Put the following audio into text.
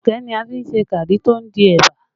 Ẹ̀gẹ́ ni a fi n se gari tó di ẹ̀bà